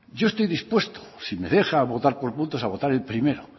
yo estoy dispuesto si me deja votar por puntos a votar el primero